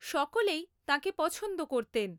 সকলেই তাঁকে পছন্দ করতেন।